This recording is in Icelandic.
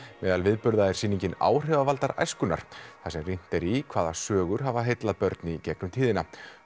meðal viðburða eru áhrifavaldar æskunnar þar sem rýnt er í hvaða sögur hafa heillað börn í gegnum tíðina